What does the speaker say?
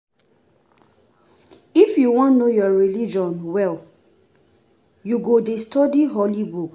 If you wan know your religion well, you go study Holy book.